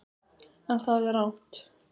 En það er rangt.